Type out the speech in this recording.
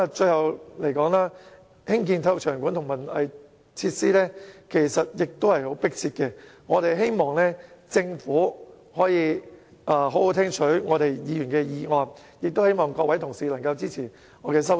最後，興建體育場館和文化藝術設施是相當迫切的，我希望政府可以好好聽取議員的建議，也希望各位同事能夠支持我提出的修正案。